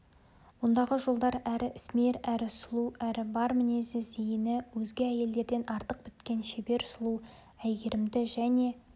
ондағы жолдар әрі ісмер әрі сұлу әрі бар мінезі зейіні өзге әйелдерден артық біткен шебер сұлу әйгерімді және